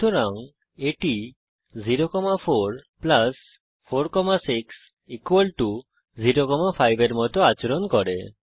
সুতরাং এটি 0 4 4 6 0 5 এর মত আচরণ করে